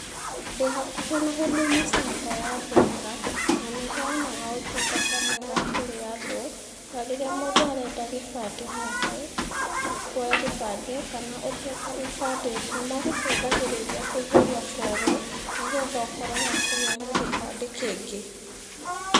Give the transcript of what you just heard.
Ndĩ hakuhĩ na huduma centre ya thĩka, na nĩheanaga ũtungata mwega kũrĩ andũ, to rĩrĩa mũndũ arenda gĩbandĩ gĩake ka kuoya gĩbandĩ kana ũtete gĩbandĩ, nĩmagũteithagírĩria kũihũria fomu, nĩgetha ũkorwo wa kũgĩa na gĩbandĩ kĩngĩ.